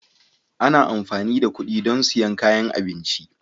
Ana amfani da kuɗi don siyan kayan abinci